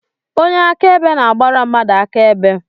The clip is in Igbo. Onye akaebe na-agbara mmadụ akaebe.